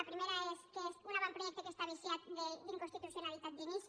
el primer és que és un avantprojecte que està viciat d’inconstitucionalitat d’inici